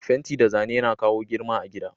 Fenti da Zane Yana kawo girma a gida.